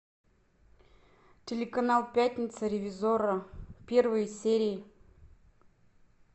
телеканал пятница ревизорро первые серии